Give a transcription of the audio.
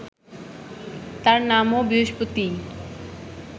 তাঁর নামও বৃহস্পতিই